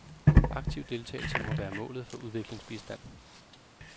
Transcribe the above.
Aktiv deltagelse må være målet for udviklingsbistand.